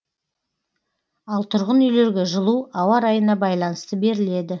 ал тұрғын үйлерге жылу ауа райына байланысты беріледі